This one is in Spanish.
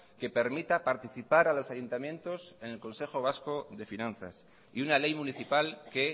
que permita participar a los ayuntamientos en el consejo vasco de finanzas y una ley municipal que